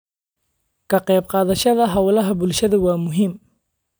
Ka qayb qaadashada hawlaha bulshada waa muhiim.